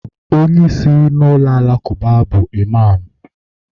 onye isi na alakụba bu Iman